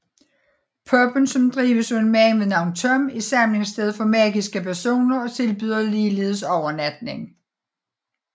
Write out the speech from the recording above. Pubben som drives af en mand ved navn Tom er samlingssted for magiske personer og tilbyder ligeledes overnatning